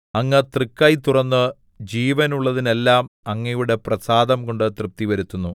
അങ്ങ് തൃക്കൈ തുറന്ന് ജീവനുള്ളതിനെല്ലാം അങ്ങയുടെ പ്രസാദം കൊണ്ട് തൃപ്തിവരുത്തുന്നു